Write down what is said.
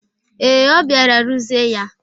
Ee, ọ bịara ruzie ya.